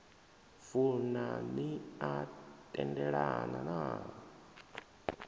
funa ni a tendelana na